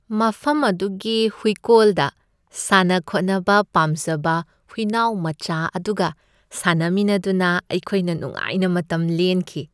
ꯃꯐꯝ ꯑꯗꯨꯒꯤ ꯍꯨꯏꯀꯣꯜꯗ ꯁꯥꯟꯅ ꯈꯣꯠꯅꯕ ꯄꯥꯝꯖꯕ ꯍꯨꯏꯅꯥꯎ ꯃꯆꯥ ꯑꯗꯨꯒ ꯁꯥꯟꯅꯃꯤꯟꯅꯗꯨꯅ ꯑꯩꯈꯣꯏꯅ ꯅꯨꯡꯉꯥꯏꯅ ꯃꯇꯝ ꯂꯦꯟꯈꯤ ꯫